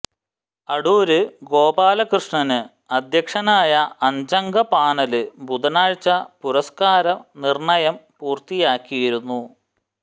അടൂര് ഗോപാലകൃഷ്ണന് അധ്യക്ഷനായ അഞ്ചംഗ പാനല് ബുധനാഴ്ച പുരസ്കാരം നിര്ണയം പൂര്ത്തിയാക്കിയിരുന്നു